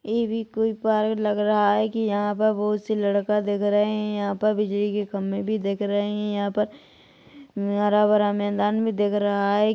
ये भी कोई पार्क लग रहा है की यहाँ पर बहुत से लड़का दिख रहे है यहाँ पर बिजली के खम्बे भी दिख रहे है यहाँ पर हरा -भरा मैदान भी दिख रहा है।